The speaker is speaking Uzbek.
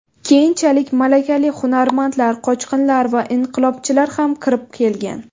Keyinchalik malakali hunarmandlar, qochqinlar va inqilobchilar ham kirib kelgan.